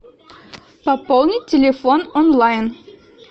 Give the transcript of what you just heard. пополнить телефон онлайн